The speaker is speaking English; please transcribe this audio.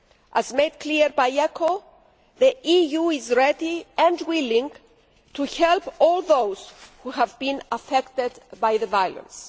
As made clear by ECHO, the EU is ready and willing to help all those who have been affected by the violence.